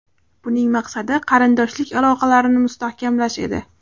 Buning maqsadi qarindoshlik aloqalarini mustahkamlash edi.